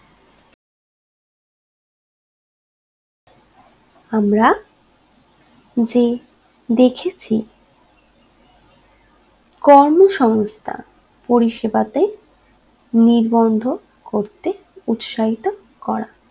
আমরা যে দেখেছি কর্মসংস্থা পরিষেবাতে নিবন্ধ করতে উৎসাহিত করা